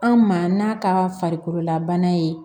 An ma n'a ka farikololabana ye